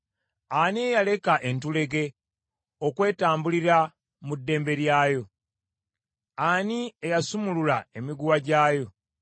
“Ani eyaleka entulege okwetambulira mu ddembe lyayo? Ani eyasumulula emiguwa gyayo,